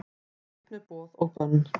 Burt með boð og bönn